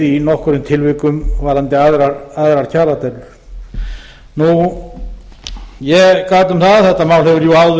í nokkrum tilvikum varðandi aðrar kjaradeilur ég gat um það að þetta mál hefur jú áður